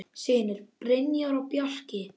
Synir: Brynjar og Bjarki.